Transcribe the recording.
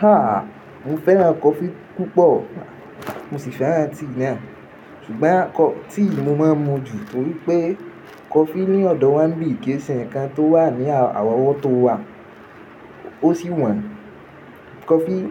Ha! Mo fẹ́ràn coffee púpọ̀, mo sì fẹ́ràn tíì náà. Ṣùgbọ́n tíì mo máa ń mu jù torí pé coffee ní ọ̀dọ̀ wa ń bì kíì ṣe ǹkan tó wà ní àwọn ọwọ́ tó wà. Ó sì wọ́n. Coffee,